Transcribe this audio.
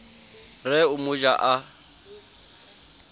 re o mo ja a